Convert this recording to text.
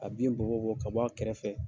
A bin bɔ bɔ, ka bɔ a kɛrɛfɛ.